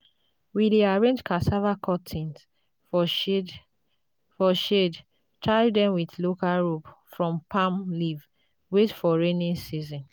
we dey arrange cassava cuttings for shade tie dem with local rope from palm leaf wait for rainy season.